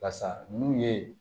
Basa n'u ye